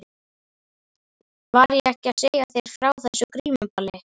Var ég ekki að segja þér frá þessu grímuballi?